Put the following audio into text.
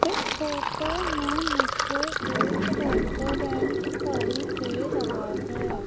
इस फोटो में मुझे एक रेस्टोरेंट दिखाइ दे रहा है।